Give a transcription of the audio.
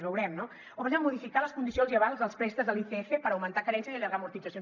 veurem no o per exemple modificar les condicions o avals dels préstecs de l’icf per augmentar carència i allargar amortitzacions